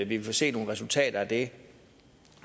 vi vil se nogle resultater af det